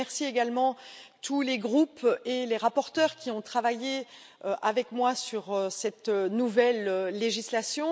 Je remercie également tous les groupes et les rapporteurs qui ont travaillé avec moi sur cette nouvelle législation.